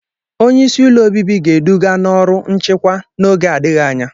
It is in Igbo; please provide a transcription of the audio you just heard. Onye isi ụlọ obibi ga-eduga n'ọrụ nchịkwa n'oge adịghị anya.